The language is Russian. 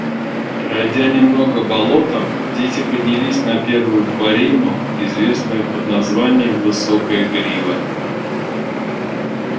пройдя немного болотом дети поднялись на первую борину известную под названием высокая грива